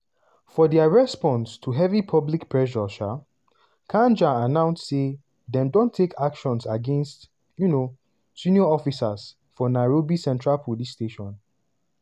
for dia response to heavy public pressure um kanja announce say dem don take actions against um senior officers for nairobi central police station.